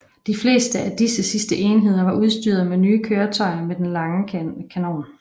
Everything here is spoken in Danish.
De fleste af disse sidste enheder var udstyret med nye køretøjer med den lange kanon